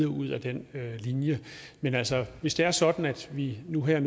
ud ad den linje men altså hvis det er sådan at vi nu her